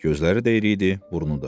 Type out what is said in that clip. Gözləri deyri idi, burnu da.